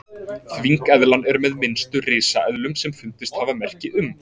þvengeðlan er með minnstu risaeðlum sem fundist hafa merki um